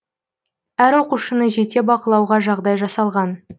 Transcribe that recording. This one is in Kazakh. әр оқушыны жете бақылауға жағдай жасалған